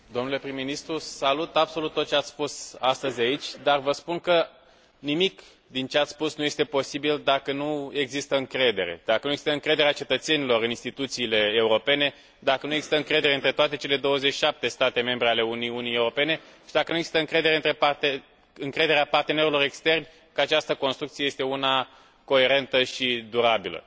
Domnule prim ministru, salut absolut tot ce ați spus astăzi aici, dar vă spun că nimic din ce ați spus nu este posibil, dacă nu există încredere, dacă nu există încrederea cetățenilor în instituțiile europene, dacă nu există încredere între toate cele 27 de state membre ale Uniunii Europene și dacă nu există încrederea partenerilor externi că această construcție este una coerentă și durabilă.